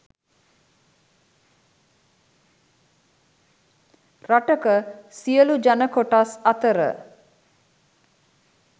රටක සියලූ ජන කොටස් අතර